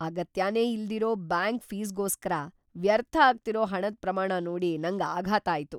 ಅಗತ್ಯನೇ ಇಲ್ದಿರೋ ಬ್ಯಾಂಕ್ ಫೀಸ್ಗೋಸ್ಕರ ವ್ಯರ್ಥ ಆಗ್ತಿರೋ ಹಣದ್‌ ಪ್ರಮಾಣ ನೋಡಿ ನಂಗ್ ಆಘಾತ ಆಯ್ತು.